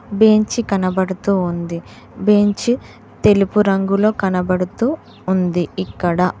Bench కనపడుతూ ఉంది bench తెలుపు రంగులో కనబడుతూ ఉంది ఇక్కడ.